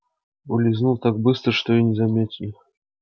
улизнул так быстро что и не заметили